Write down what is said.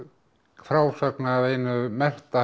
frásögn af einu mesta